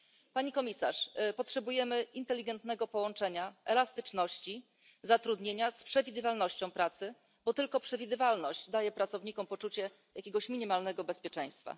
Pani Komisarz, potrzebujemy inteligentnego połączenia elastyczności zatrudnienia z przewidywalnością pracy, bo tylko przewidywalność daje pracownikom poczucie jakiegoś minimalnego bezpieczeństwa.